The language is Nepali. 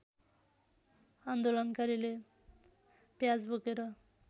आन्दोलनकारीले प्याज बोकेर